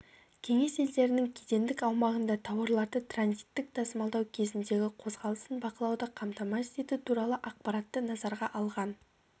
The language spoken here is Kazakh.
кеңес елдерінің кедендік аумағында тауарларды транзиттік тасымалдау кезіндегі қозғалысын бақылауды қамтамасыз ету туралы ақпаратты назарға алған